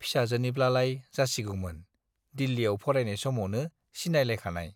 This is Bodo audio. फिसाजोनिब्लालाय जासिगौमोन, दिल्लीयाव फरायनाय सामवनो सिनायलायखानाय।